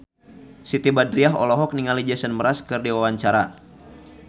Siti Badriah olohok ningali Jason Mraz keur diwawancara